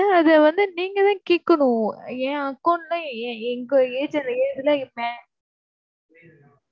sir அதை வந்து நீங்க தான் கேட்கணும். என் account ல எ~ எங்க